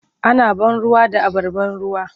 Ana ban ruwa da abar ban ruwa.